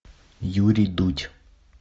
юрий дудь